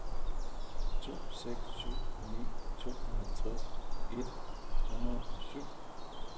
to seks syv ni tooghalvfjerds et hundrede og syv